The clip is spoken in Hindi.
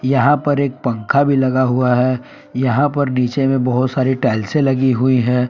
यहा पर एक पंखा भी लगा हुआ है। यहा पर नीचे में बहुत सारी स्टाइल्से लगी हुई हैं।